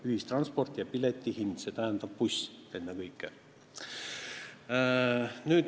Ühistransport ja piletihind, see tähendab ennekõike bussi.